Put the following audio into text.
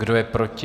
Kdo je proti?